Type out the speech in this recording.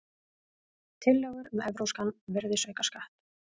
Tillögur um evrópskan virðisaukaskatt